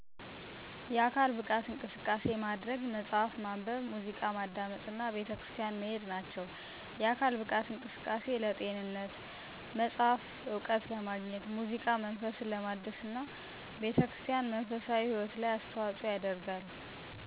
የአካል ብቃት እንቅስቃሴ ማድረግ፣ መጽሀፍ ማንበብ፣ ሙዚቃ ማዳመጥ እና ቤተክርስቲያን ማሄድ ናቸው። የአካል ብቃት እንቅስቃሴ ለጤንነት፣ መጽሐፍ እውቀት ለማግኘት፣ ሙዚቃ መንፈስ ለማደስና ቤተክርስቲያን መንፈሳዊ ህይወት አስተዋጽኦ ያደርጋል።